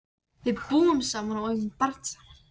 Við búum saman og eigum barnið saman.